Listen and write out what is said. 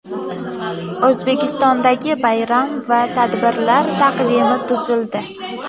O‘zbekistondagi bayram va tadbirlar taqvimi tuzildi.